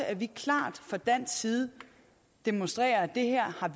at vi klart fra dansk side demonstrerer at det her har